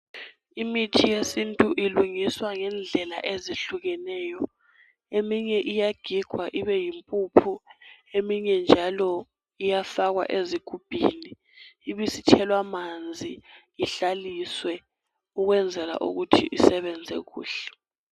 Imithi yesintu ilungiswa ngendlela ezihlukeneyo eminye iyagigwa ibeyimpuphu eminye njalo iyafakwa ezigubhini ibisithelwa manzi ihlaliswe ukwenzela ukuthi isebenze kuhle.